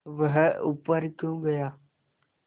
वह ऊपर क्यों गया